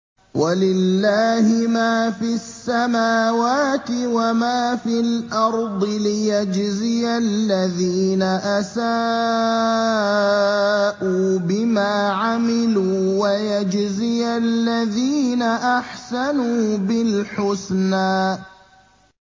وَلِلَّهِ مَا فِي السَّمَاوَاتِ وَمَا فِي الْأَرْضِ لِيَجْزِيَ الَّذِينَ أَسَاءُوا بِمَا عَمِلُوا وَيَجْزِيَ الَّذِينَ أَحْسَنُوا بِالْحُسْنَى